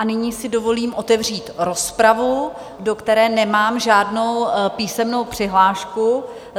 A nyní si dovolím otevřít rozpravu, do které nemám žádnou písemnou přihlášku.